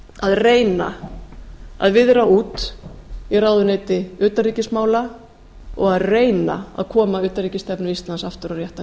að reyna að viðra út í ráðuneyti utanríkismála og reyna að koma utanríkisstefnu íslands aftur á réttan